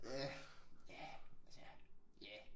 Ja. Ja ja ja